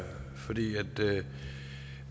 det